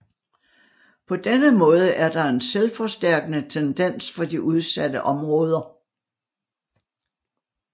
På denne måde er der en selvforstærkende tendens for de udsatte områder